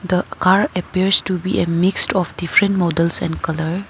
The car appears to be a mixed of different models and colour.